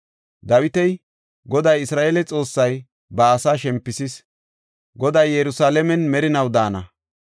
Dawiti, “Goday, Isra7eele Xoossay ba asaa shempisis. Goday Yerusalaamen merinaw daana.